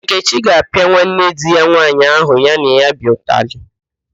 Nkechi ga-apịa nwanne di ya nwaanyị ahụ ya na ya bi ụtalị